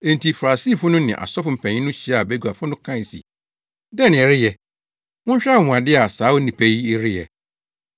Enti Farisifo no ne asɔfo mpanyin no hyiaa baguafo no kae se, “Dɛn na yɛreyɛ? Monhwɛ anwonwade a saa onipa yi reyɛ!